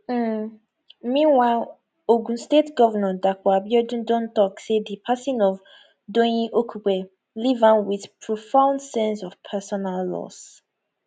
um meanwhile ogun state govnor dapo abiodun don tok say di passing of doyin okupe leave am wit profound sense of personal loss